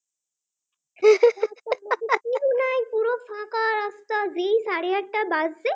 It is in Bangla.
বাজজে